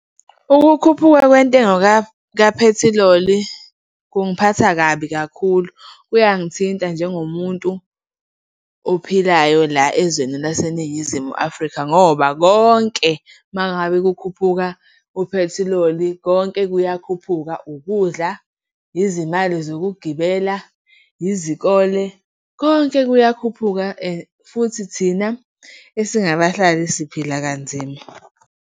Ukukhuphuka kwentengo kaphethiloli kungiphatha kabi kakhulu. Kuyangithinta njengo muntu ophilayo la ezweni laseNingizimu Afrika ngoba konke, uma ngabe kukhuphuka uphethiloli, konke kuyakhuphuka, ukudla, izimali zokugibela, izikole, konke kuyakhuphuka. Futhi thina esingabahlali siphila kanzima.